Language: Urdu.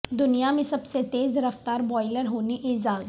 دنیا میں سب سے تیز رفتار بائولر ہونے اعزاز